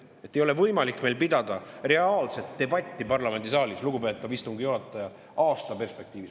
Meil ei ole võimalik pidada reaalset debatti parlamendisaalis, lugupeetav istungi juhataja, aasta perspektiivis.